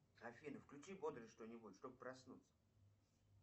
афина включи бодрое что нибудь чтоб проснуться